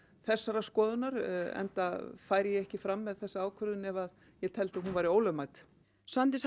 þessarar skoðunar enda færi ég ekki fram með þessa ákvörðun ef ég teldi að hún væri ólögmæt Svandís